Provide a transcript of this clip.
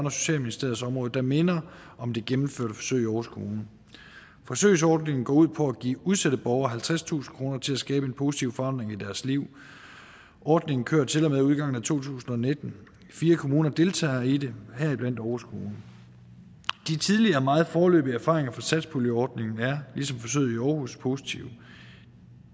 og socialministeriets område der minder om det gennemførte forsøg i aarhus kommune forsøgsordningen går ud på at give udsatte borgere halvtredstusind kroner til at skabe en positiv forandring i deres liv ordningen kører til og med udgangen af to tusind og nitten fire kommuner deltager i det heriblandt aarhus kommune de tidlige og meget foreløbige erfaringer fra satspuljeordningen er ligesom forsøget i aarhus positive